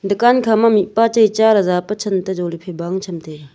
dukan kha ma mihpa chai cha ley jawle than toh jale phai bang ley tham tega.